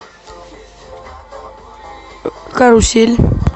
карусель